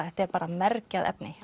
þetta er bara mergjað efni